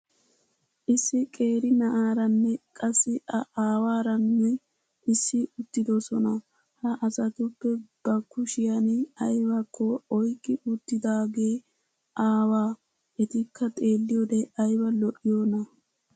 Issi qeeri na'aaranne qassi a aawaaaranissi uttidisoona Ha asatuppe ba kushshiyan aybbakko oyqqi uttidaage aawaa. Etikka xeeliyoode aybba lo"iyoona !